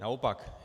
Naopak.